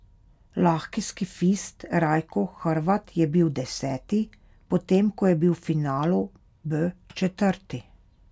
Lahki skifist Rajko Hrvat je bil deseti, potem ko je bil v finalu B četrti.